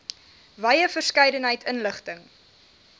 wye verskeidenheid inligting